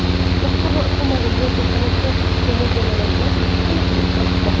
Boshqarma ushbu modeldagi vertolyot to‘rt kishiga mo‘ljallanganligiga aniqlik kiritdi.